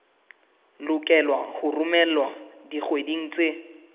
lokelwa ho romelwa dikgweding tse